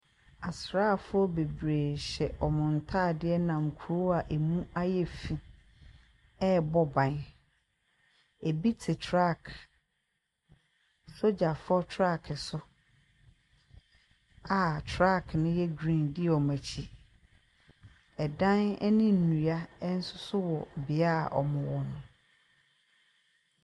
Asraafoɔ bebree nam kuro a ɛmu ayɛ fii ɛrebɔ bɔ ban, bi te truck sogyafoɔ truck so a truck no yɛ geen di wɔn akyi. Dan ne nnua nso wɔ bea a wɔwɔ no.